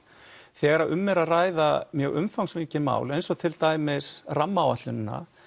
þegar um er að ræða mjög umfangsmikið mál eins og til dæmis rammaáætlunina